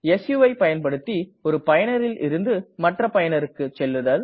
சு வை பயன்படுத்தி ஒரு பயனரில் இருந்து மற்ற பயனருக்கு செல்லுதல்